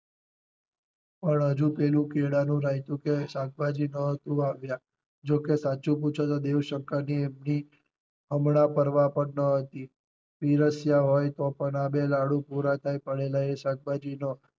પણ હજુ પેલું કેળાનું રાયતું કે શાકભાજી નહોતું આવ્યા જો કે સાચું પૂછો તો દેવ શંકર ને એમની હમણાં પરવાહ પણ ન હતી. પીરસ્યા હોય તો પણ આ બે લાડુ પૂરા થાય એ પહેલા શાકભાજી નો